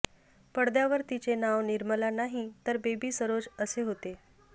पडद्यावर तिचे नाव निर्मला नाही तर बेबी सरोज असे होते